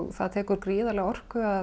það tekur gríðarlega orku að